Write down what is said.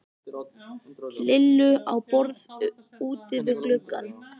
Lillu á borð úti við gluggann.